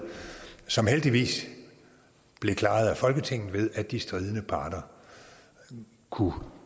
som heldigvis blev klaret af folketinget ved at de stridende parter kunne